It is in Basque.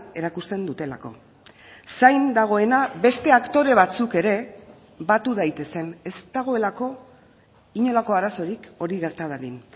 erakusten dutelako zain dagoena beste aktore batzuk ere batu daitezen ez dagoelako inolako arazorik hori gerta dadin